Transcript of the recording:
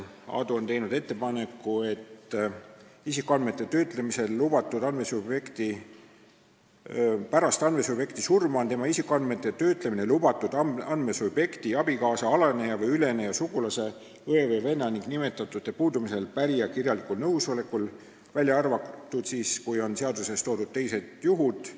Aadu on teinud ettepaneku, et pärast andmesubjekti surma on tema isikuandmete töötlemine lubatud andmesubjekti abikaasa, alaneja või üleneja sugulase, õe või venna ning nimetatute puudumisel pärija kirjalikul nõusolekul, välja arvatud seaduses toodud teistel juhtudel.